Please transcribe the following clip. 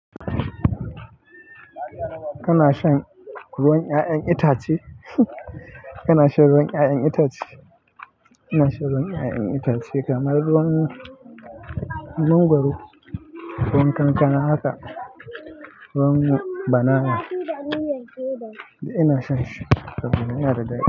Kana shan ruwan 'ya'yan itace? Kana shan ruwan 'ya'yan itace? Ina shan ruwan 'ya'yan itace kamar ruwan mangwaro, ruwan kankana haka, ruwan banana duk ina shan shi, saboda yana da daɗi.